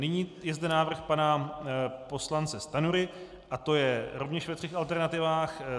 Nyní je zde návrh pana poslance Stanjury, a to je rovněž ve třech alternativách.